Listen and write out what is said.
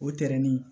O tɛrɛnin